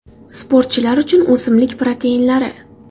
Sportchilar uchun o‘simlik proteinlari.